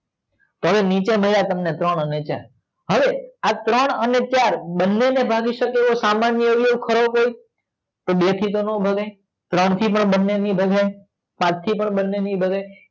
હવે નીચે મળ્યા તમને ત્રણ અને ચાર હવે આ ત્રણ અને ચાર બને ને ભાગી સકે એવો સામાન્ય અવયવ ખરો કોઈ તો બે થી તો નો ભાગે ત્રણ થી બી ના ભાગે પાંચ થી બી નો ભાગે